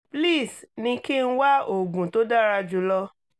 please ní kí n wá oògùn tó dára jù lọ